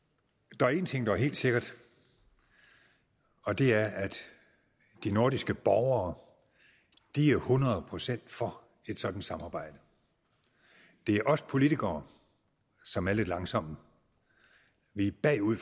der er én ting der er helt sikker og det er at de nordiske borgere er hundrede procent for et sådant samarbejde det er os politikere som er lidt langsomme vi er bagud i